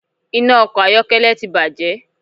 Iná ọkọ̀ ayọ́kẹ́lẹ́ ti bàjé